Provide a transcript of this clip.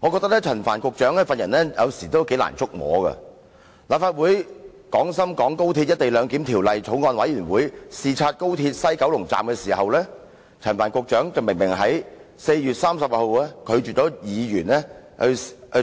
我認為陳帆局長的為人有時難以觸摸，當立法會《廣深港高鐵條例草案》委員會視察廣深港高鐵西九龍站時，陳帆局長在4月30日明明拒絕議員